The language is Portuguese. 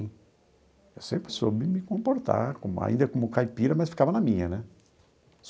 Eu sempre soube me comportar, como ainda como caipira, mas ficava na minha, né?